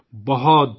بہت بہت شکریہ